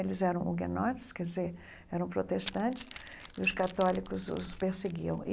Eles eram uguenotes, quer dizer, eram protestantes, e os católicos os perseguiam.